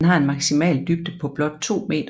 Den har en maksimal dybde på blot 2 meter